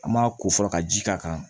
An ma ko fɔlɔ ka ji k'a kan